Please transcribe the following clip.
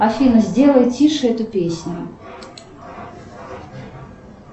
афина сделай тише эту песню